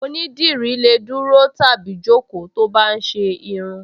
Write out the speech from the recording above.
Onídìrí lè dúró tàbí jókòó tó bá ń ṣe irun